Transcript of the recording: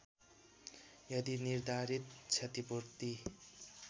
यदि निर्धारित क्षतिपूर्ति